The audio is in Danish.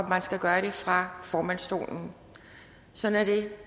man skal gøre det fra formandsstolen sådan er det